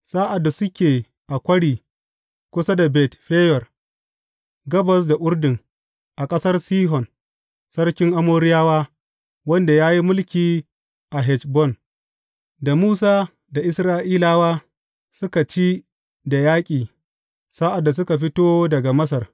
Sa’ad da suke a kwari kusa da Bet Feyor, gabas da Urdun, a ƙasar Sihon sarkin Amoriyawa, wanda ya yi mulki a Heshbon, da Musa da Isra’ilawa suka ci da yaƙi sa’ad da suka fito daga Masar.